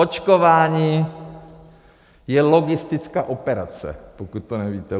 Očkování je logistická operace, pokud to nevíte.